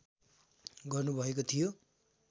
गर्नुभएको थियो